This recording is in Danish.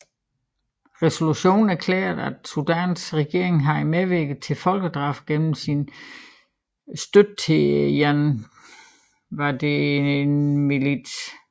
Resolutionen erklærede at Sudans regering havde medvirket til folkedrab gennem sin støtte til janjaweedmilitsen